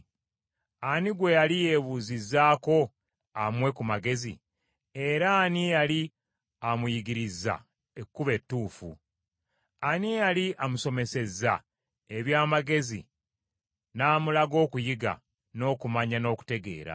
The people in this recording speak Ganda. Ani gwe yali yeebuuzizzako amuwe ku magezi, era ani eyali amuyigirizza ekkubo ettuufu? Ani eyali amusomesezza eby’amagezi n’amulaga okuyiga, n’okumanya n’okutegeera?